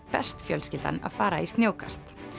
best fjölskyldan að fara í snjókast